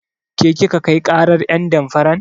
Ke kika kai ƙarar ƴen damfaran?